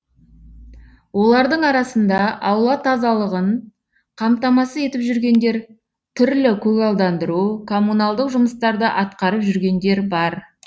олардың арасында аула тазалығын қамтамасыз етіп жүргендер түрлі көгалдандыру коммуналдық жұмыстарды атқарып жүргендер бар